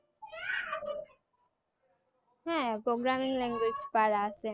হ্যাঁ programming language পারা আসে